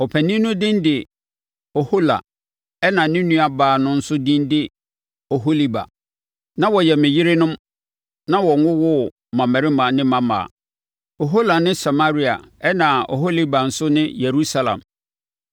Ɔpanin no din de Ohola ɛnna ne nuabaa no nso din de Oholiba. Na wɔyɛ me yerenom na wɔwowoo mmammarima ne mmammaa. Ohola ne Samaria ɛnna Oholiba nso ne Yerusalem.